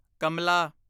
ਕਮਲਾ